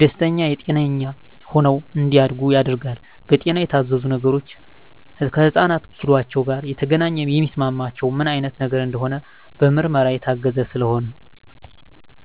ደስተኛ ጤነኛ ሆነው እንዳድጉ ያደርጋል። በጤና የታዘዙ ነገሮች ከህፃናት ኪሏቸው ጋር የተገናኘ የሚስማማቸው ምን አይነት ነገር እንደሆነ በምርመራ የታገዘ ስለሆነ